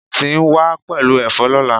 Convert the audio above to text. Anti n wa pelu efo lola